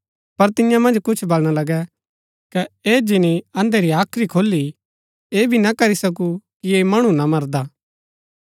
पर तियां मन्ज कुछ बलणा लगै कै ऐह जिनी अंधे री हाख्री खोली ऐह भी ना करी सकू कि ऐह मणु ना मरदा